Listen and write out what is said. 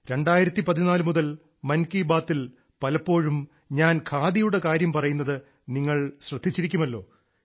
2014 മുതൽ മൻ കീ ബാത്തിൽ പലപ്പോഴും ഞാൻ ഖാദിയുടെ കാര്യം പറയുന്നത് നിങ്ങൾ ശ്രദ്ധിച്ചിരിക്കുമല്ലോ